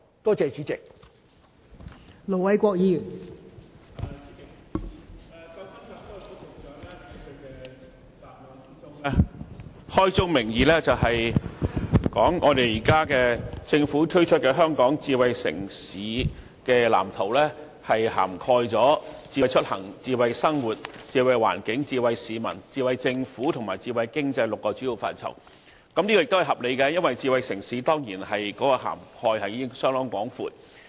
代理主席，創新及科技局局長在主體答覆中，開宗明義說政府推出的《藍圖》涵蓋"智慧出行"、"智慧生活"、"智慧環境"、"智慧市民"、"智慧政府"及"智慧經濟 "6 個主要範疇，這是合理的，因為智慧城市涵蓋面當然相當廣闊。